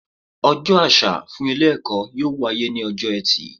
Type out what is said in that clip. Ojó àsà fún Ilé èkó yóò wáyé ní ojó etì